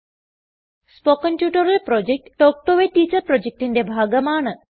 spoken tutorial project talk to a teacher പ്രോജക്റ്റിന്റെ ഭാഗമാണ്